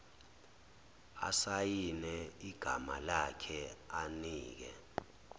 asayine igamalakhe anike